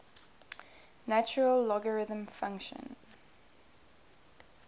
natural logarithm function